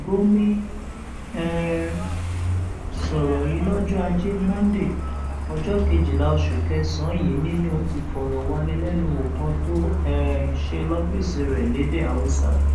gòmí um sọrọ yìí lọjọ ajé monde ọjọ kejìlá oṣù kẹsànán yìí nínú ìfọrọwánilẹnuwò kan tó um ṣe lọfíìsì rẹ lédè haúsá